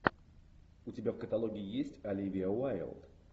у тебя в каталоге есть оливия уайлд